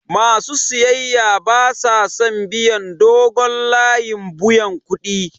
Ma su siyayya ba sa son biyan dogon layin buyan kuɗi.